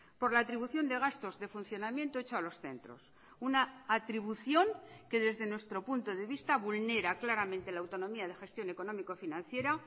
por la atribución de gastos de funcionamiento hecho a los centros una atribución que desde nuestro punto de vista vulnera claramente la autonomía de gestión económico financiera